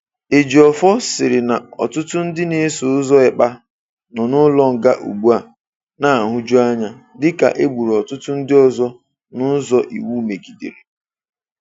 Ejiofor sịrị na ọtụtụ ndị na-eso ụzọ Ekpa nọ n'ụlọnga ugbua na-ahuju anya, dịka e gburu ọtụtụ ndị ọzọ n'ụzọ iwu megidere.